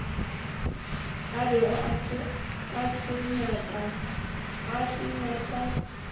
a bego a se nyaka